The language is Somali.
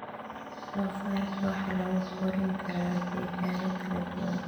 Doofaarka waxaa lagu korin karaa degaano kala duwan.